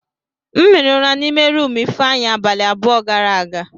M hiri ụra n'ime rumụ Ifeanyị abalị abụọ gara aga.